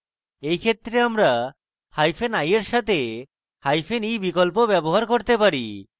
in ক্ষেত্রে আমরা hyphen i in সাথে hyphen e বিকল্প ব্যবহার করতে পারি